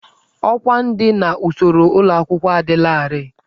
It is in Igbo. Ọkwá ndị n'usoro ụlọ akwụkwọ adịlarị.